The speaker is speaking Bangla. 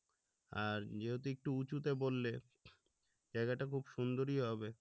আর যেহেতু একটু উচুতে বললে জায়গাটা খুব সুন্দরই হবে